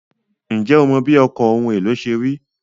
Ǹjẹ́ o mọ bí ọkọ̀ ohun èlò ṣe rí?